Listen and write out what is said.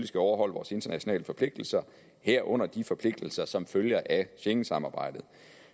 skal overholde vores internationale forpligtelser herunder de forpligtelser som følger af schengensamarbejdet